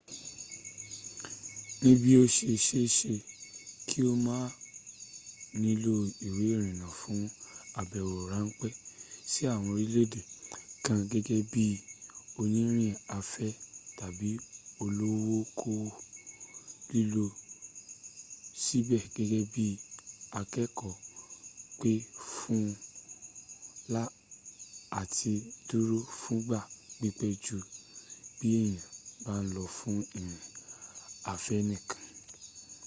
níbí ó se se é se kí o má nílò ìwé ìrìnnà fún àbẹ̀wò ráńpẹ́ sí àwọn orílèèdè kan gẹ́gẹ́ bí i onírìn afẹ́ tàbi olókoòwò lílọ síbẹ̀ gẹ́gẹ́ bí akẹ́ẹ̀kọ́ pè fún à ti dúró fúngbà pípẹ́ jú bí èèyàn bá ń lọ fún ìrìn afẹ́ nìkan